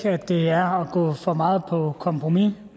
at det er at gå for meget på kompromis